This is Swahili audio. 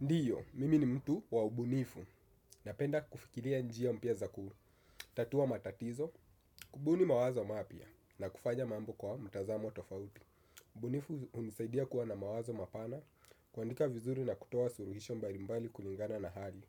Ndiyo, mimi ni mtu wa ubunifu. Napenda kufikiria njia mpya za kutatua matatizo, kubuni mawazo mapya, na kufanya mambo kwa mtazamo tofauti. Ubunifu hunisaidia kuwa na mawazo mapana, kuandika vizuri na kutoa suuhisho mbalimbali kulingana na hali.